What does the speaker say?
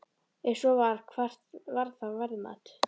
Ef svo var, hvert var það verðmat?